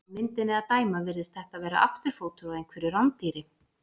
Af myndinni að dæma virðist þetta vera afturfótur á einhverju rándýri.